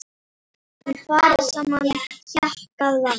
Í fari sama hjakkað var.